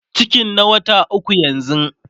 cikin na wata ukwu yanzun